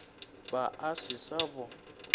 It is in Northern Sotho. be a se sa bo